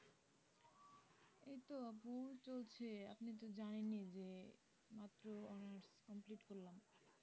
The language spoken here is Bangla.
এই তো আপু চলছে আপনি তো জানেনই যে মাত্র honers complete করলাম